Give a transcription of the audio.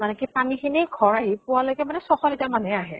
মানে কি পানী খিনি ঘৰ আহি পোৱা লৈকে মানে ছয় শ litre মান হে আহে।